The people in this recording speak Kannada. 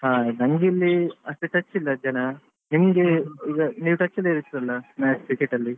ಹಾ ನಂಗೆ ಇಲ್ಲಿ ಅಷ್ಟು touch ಇಲ್ಲ ಜನ ನಿಮ್ಗೆ ಈಗ ನೀವ್ touch ಲ್ಲಿ ಇರ್ತೀರಲ್ವಾ match cricket ಅಲ್ಲಿ.